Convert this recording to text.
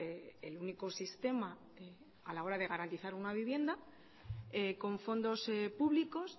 el único sistema a la hora de garantizar una vivienda con fondos públicos